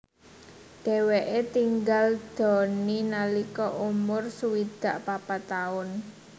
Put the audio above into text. Dheweke tinggal dony nalika umur swidak papat taun